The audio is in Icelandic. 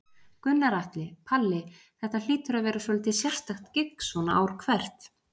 Gunnar Atli: Palli, þetta hlýtur að vera svolítið sérstakt gigg svona ár hvert?